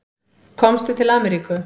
Komstu til Ameríku?